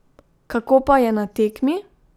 Kako pa je na tekmi?